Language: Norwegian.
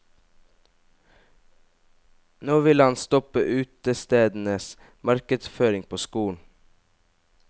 Nå vil han stoppe utestedenes markedsføring på skolen.